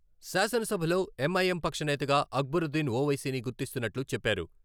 శాసనసభలో ఎంఐఎం పక్షనేతగా అక్బరుద్దీన్ ఓవైసీని గుర్తిస్తున్నట్లు చెప్పారు.